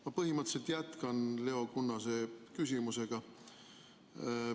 Ma põhimõtteliselt jätkan Leo Kunnase küsimust.